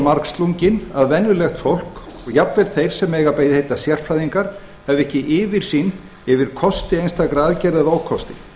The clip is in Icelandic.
margslunginn að venjulegt fólk og jafnvel þeir sem eiga að heita sérfræðingar hefðu ekki yfirsýn yfir kosti einstakra aðgerða eða ókosti